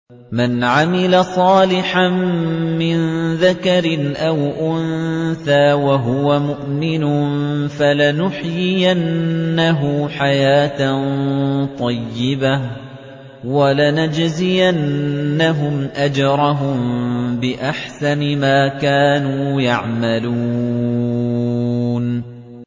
مَنْ عَمِلَ صَالِحًا مِّن ذَكَرٍ أَوْ أُنثَىٰ وَهُوَ مُؤْمِنٌ فَلَنُحْيِيَنَّهُ حَيَاةً طَيِّبَةً ۖ وَلَنَجْزِيَنَّهُمْ أَجْرَهُم بِأَحْسَنِ مَا كَانُوا يَعْمَلُونَ